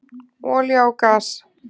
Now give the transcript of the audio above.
Olía og gas